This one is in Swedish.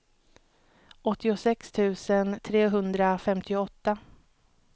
åttiosex tusen trehundrafemtioåtta